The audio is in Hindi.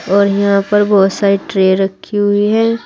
और यहां पर बहुत सारी ट्रे रखी हुई है।